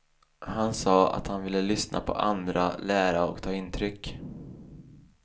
Han sade att han vill lyssna på andra, lära och ta intryck.